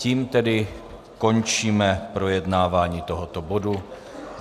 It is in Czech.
Tím tedy končíme projednávání tohoto bodu.